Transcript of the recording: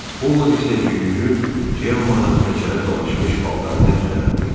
Ovod isə yüyürüb Cemmanın təkərə dolaşmış paltarını düzəltdi